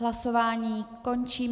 Hlasování končím.